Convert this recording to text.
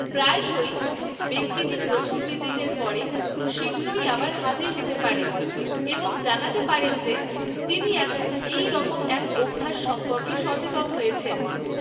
প্রায়শই, ব্যক্তিটি প্রথম ভিজিটের পরে শীঘ্রই আবার হাজির হতে পারেন এবং জানাতে পারেন যে তিনি এখন এইরকম এক অভ্যাস সম্পর্কে সচেতন হয়েছেন।